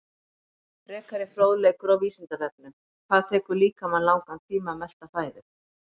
Frekari fróðleikur á Vísindavefnum: Hvað tekur líkamann langan tíma að melta fæðu?